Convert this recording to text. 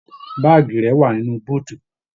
Baagi rẹ wà nínú búutú.